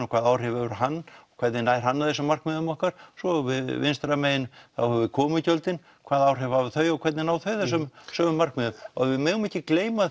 hvaða áhrif hefur hann og hvernig nær hann þessum markmiðum okkar svo vinstra megin höfum við komugjöldin hvaða áhrif hafa þau og hvernig ná þau þessum sömu markmiðum og við megum ekki gleyma